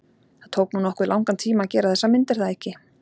Það tók nú nokkuð langan tíma að gera þessa mynd er það ekki?